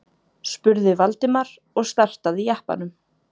spurði Valdimar og startaði jeppanum.